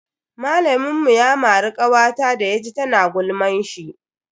Malamin mu ya mari kawata da ya ji tana gulman shi.